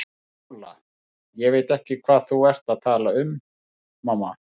SÓLA: Ég veit ekki hvað þú ert að tala um, mamma.